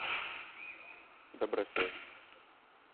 доброфест